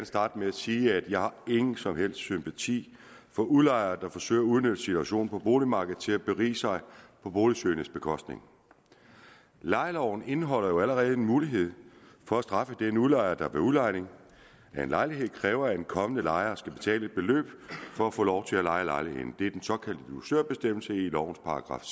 starte med at sige at jeg ikke har nogen som helst sympati for udlejere der forsøger at udnytte situationen på boligmarkedet til at berige sig på boligsøgendes bekostning lejeloven indeholder jo allerede en mulighed for at straffe den udlejer der ved udlejning af en lejlighed kræver at en kommende lejer skal betale et beløb for at få lov til at leje lejligheden det er den såkaldte dusørbestemmelse i lovens §